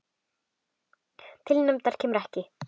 Til hefnda kemur ekki!